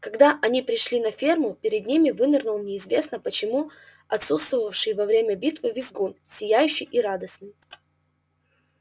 когда они пришли на ферму перед ними вынырнул неизвестно почему отсутствовавший во время битвы визгун сияющий и радостный